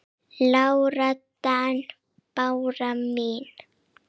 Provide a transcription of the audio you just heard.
Lára Dan. Bára mín.